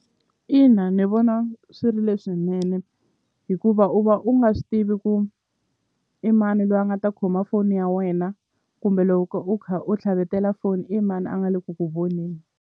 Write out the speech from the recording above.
Ina ni vona swi ri leswinene hikuva u va u nga swi tivi ku i mani lwa nga ta khoma foni ya wena kumbe loko u kha u tlhavetela foni i mani a nga le ku ku voneni.